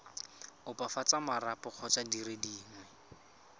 opafatsa marapo kgotsa dire dingwe